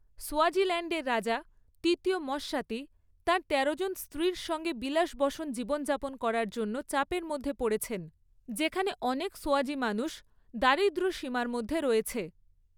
সোয়াজিল্যান্ডের রাজা, তৃতীয় মস্বাতী, তার তেরোজন স্ত্রীর সঙ্গে বিলাসব্যসন জীবনযাপন করার জন্য চাপের মধ্যে পড়েছেন, যেখানে অনেক সোয়াজি মানুষ দারিদ্র্যসীমার মধ্যে রয়েছে।